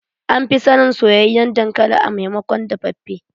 An fi sanin soyayyen dankali a maimakon dafaffe.